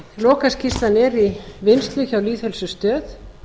lokaskýrslan er í vinnslu hjá lýðheilsustöð